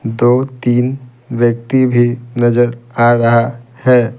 दो-तीन व्यक्ति भी नजर आ रहा है।